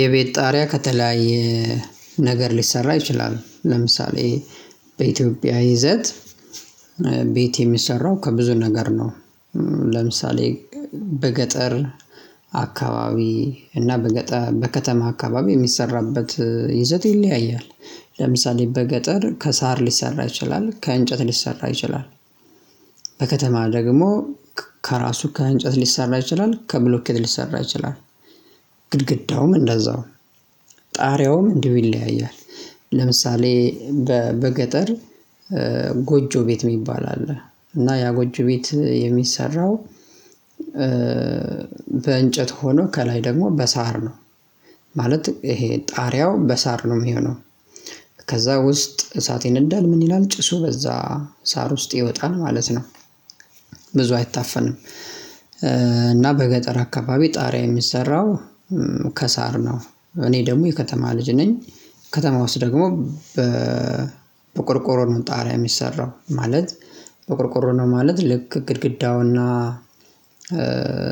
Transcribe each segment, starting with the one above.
የቤት ጣሪያ ከተለያየ ነገር ሊሰራ ይችላል። ለምሳሌ በኢትዮጵያ ይዘት ቤት የሚሰራው ከብዙ ነገር ነው። ለምሳሌ በገጠር አካባቢ እና በገጠር በከተማ አካባቢ የሚሰራበት ይዘት ይለያያል። ለምሳሌ በገጠር ከሳር ሊሰራ ይችላል ከእንጨት ሊሰራ ይችላል። በከተማ ደግሞ ከራሱ ከእንጨት ሊሰራ ይችላል ከብሎኬት ሊሰራ ይችላል። ግድግዳውም እንደዛው ጣሪያውም እንዲው ይለያያል። ለምሳሌ በገጠር ጎጆ ቤት የሚባል አለ። እና ያ ጎጆ ቤት የሚሰራው በእንጨት ሆኖ ከላይ ደግሞ በሳር ነው። ማለት ይሄ ጣሪያው በሳር ነው የሚሆነው። ከዛ ውስጥ እሳት ይነዳል ምን ይላል ጭሱ በዛ ሳር ውስጥ ይወጣል ማለት ነው። አይታፈንም። እና በገጠር አካባቢ ጣሪያ የሚሰራው ከሳር ነው። እኔ ደግሞ የከተማ ልጅ ነኝ። ከተማ ውስጥ ደግሞ በቆርቆሮ ነው ጣሪያ የሚሰራው ማለት። በቆርቆሮ ነው ማለት ልክ ግድግዳውና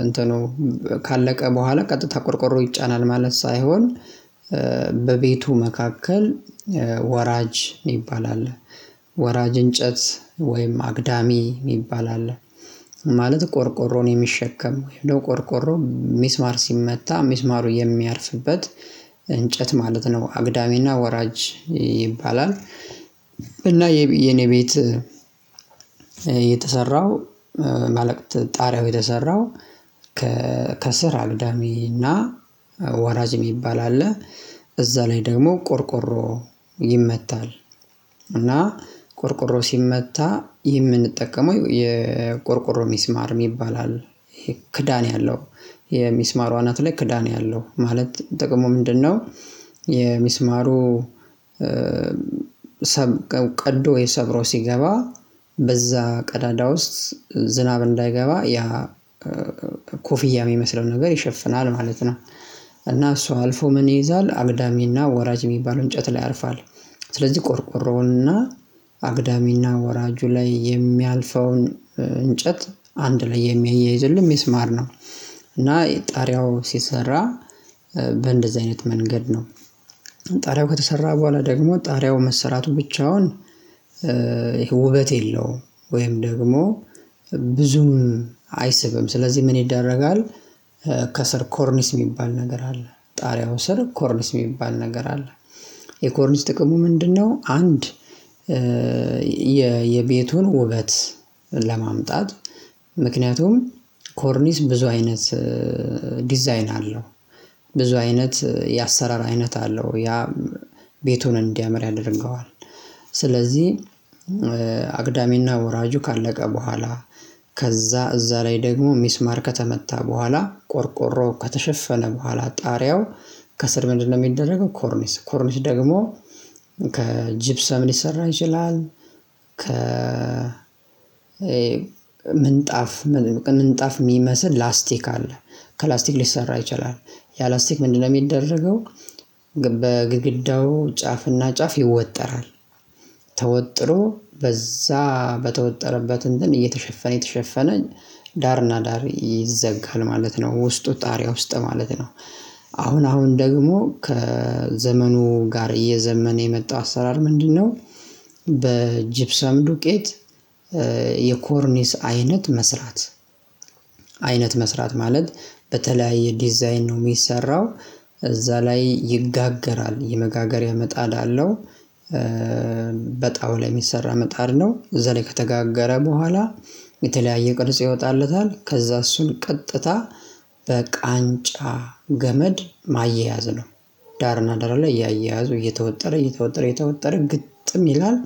እንትኑ ካለቀ በኋላ ቀጥታ ቆርቆሮ ይጫናል ማለት ሳይሆን። በቤቱ መካከል ወራጅ የሚባል አለ። ወራጅ እንጨት ወይም አግዳሚ የሚባል አለ። ማለት ቆርቆሮን የሚሸከም ወይም ቆርቆሮ ሚስማር ሲመታ ሚስማሩ የሚያርፍበት እንጨት ማለት ነው። አግዳሚና ወራጅ ይባላል። እና የኔ ቤት የተሰራው ማለቅ ጣሪያው የተሰራው አግዳሚና ወራጅ የሚባል አለ እዛ ላይ ደግሞ ቆርቆሮ ይመታል። እና ቆርቆሮ ሲመታ የምንጠቀመው የቆርቆሮ ሚስማር የሚባል አለ ክዳን ያለው የሚስማሩ አናት ላይ ክዳን ያለው ማለት ጥቅሙ ምንድነው? የሚስማሩ ቀዶ ወይ ሰብሮ ሲገባ በዛ ቀዳዳ ውስጥ ዝናብ እንዳይገባ ያ ኮፍያ የሚመስለው ነገር ይሸፍናል ማለት ነው። እና እሷ አልፎ ምን ይይዛል አግዳሚና ወራጅ የሚባለው እንጨት ላይ ያርፋል። ስለዚህ ቆርቆሮውንና አግዳሚና ወራጁ ላይ የሚያልፈውን እንጨት አንድ ላይ የሚያያይዝልኝ ሚስማር ነው። እና ጣሪያው ሲሰራ በእንደዚህ አይነት መንገድ ነው። ጣሪያው ከተሰራ በኋላ ደግሞ ጣሪያው መሰራቱ ብቻውን ውበት የለውም ወይም ደግሞ ብዙም አይስብም ስለዚህ ምን ይደረጋል? ከስር ኮርኒስ የሚባል ነገር አለ። ጣሪያው ስር ኮርኒስ የሚባል ነገር አለ። የኮርኒስ ጥቅሙ ምንድነው? አንድ የቤቱን ውበት ለማምጣት ምክንያቱም ኮርኒስ ብዙ አይነት ዲዛይን አለው። ብዙ አይነት የአሰራር አይነት አለው። ያ ቤቱን እንዲያምር ያደርገዋል። ስለዚህ አግዳሚና ወራጁ ካለቀ በኋላ ከዛ እዛ ላይ ደግሞ ሚስማር ከተመታ በኋላ ቆርቆሮ ከተሸፈነ በኋላ ጣሪያው ከስር ምንድነው የሚደረገው ኮርኒስ ኮርኒስ ደግሞ ከጂፕሰም ሊሰራ ይችላል። ከ ምንጣፍ ምንጣፍ የሚመስል ላስቲክ አለ። ከላስቲክ ሊሰራ ይችላል። ያ ላስቲክ ምንድነው የሚደረገው? በግድግዳው ጫፍና ጫፍ ይወጠራል ተወጥሮ በዛ በተወጠረበት እንትን እየተሸፈነ እየተሸፈነ ዳርና ዳር ይዘጋል ማለት ነው። ውስጡ ጣሪያ ውስጥ ማለት ነው። አሁን አሁን ደግሞ ከዘመኑ ጋር እየዘመነ የመጣው አሰራር ምንድነው? በጅብሰም ዱቄት የኮርኒስ አይነት መስራት አይነት መስራት ማለት በተለያየ ዲዛይን ነው የሚሰራው። እዛ ላይ ይጋገራል የመጋገሪያ ምጣድ አለው። በጣው ላይ የሚሰራ ምጣድ ነው እዛ ላይ ከተጋጋረ በኋላ የተለያየ ቅርጽ ይወጣለታል ከዛ እሱን ቀጥታ በቃንጫ ገመድ ማያያዝ ነው። ዳርና ዳር ላይ እያያዙ እየተወጠረ እየተወጠረ እየተወጠረ ግጥም ይላል።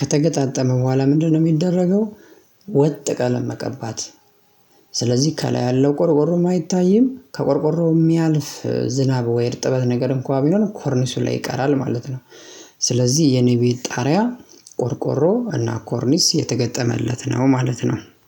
ከተገጣጠመ በኋላ ምንድነው የሚደረገው? ወጥ ቀለም መቀባት። ስለዚህ ከላይ ያለው ቆርቆሮም አይታይም ከቆርቆሮው የሚያልፍ ዝናብ ወይ እርጥበት ነገር እንኳን ቢሆን ኮርኒሱን ላይ ይቀራል ማለት ነው። ስለዚህ የኔ ቤት ጣሪያ ቆርቆሮ እና ኮርኒስ የተገጠመለት ነው ማለት ነው